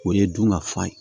O ye dun ka fa ye